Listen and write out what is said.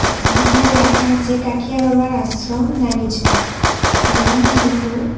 যেখানে লেখা আছে কাঠিয়া বাবার আশ্রম নাগিছড়া এবং দুটো--